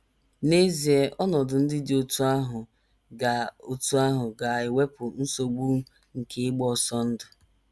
N’ezie, ọnọdụ ndị dị otú ahụ ga otú ahụ ga - ewepụ nsogbu nke ịgba ọsọ ndụ.